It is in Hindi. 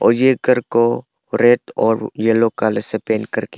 ये घर को रेड और येलो कलर से पेंट करके--